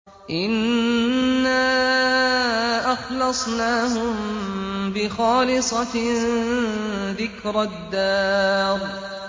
إِنَّا أَخْلَصْنَاهُم بِخَالِصَةٍ ذِكْرَى الدَّارِ